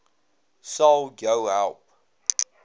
sal jou help